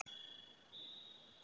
spurði Valdimar, mest af forvitni.